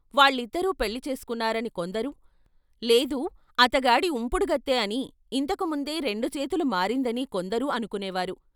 వాళ్ళిద్దరూ పెళ్ళి చేసుకున్నారని కొందరు, లేదు అతగాడి ఉంపుడుగత్తె అని ఇంతకు ముందే రెండు చేతులు మారిందనీ కొందరూ అనుకొనే వారు.